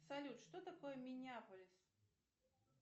салют что такое минеаполис